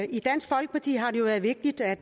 i dansk folkeparti har det været vigtigt at